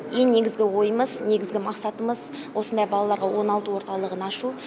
ең негізгі ойымыз негізгі мақсатымыз осындай балаларға оңалту орталығын ашу